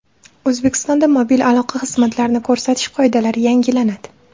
O‘zbekistonda mobil aloqa xizmatlarini ko‘rsatish qoidalari yangilanadi.